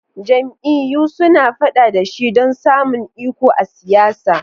Jam'iyyu suna fada da shi don samun iko a siyasa.